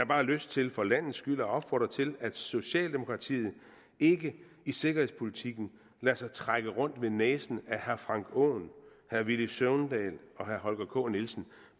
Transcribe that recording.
bare lyst til for landets skyld at opfordre til at socialdemokratiet ikke i sikkerhedspolitikken lader sig trække rundt ved næsen af herre frank aaen herre villy søvndal og herre holger k nielsen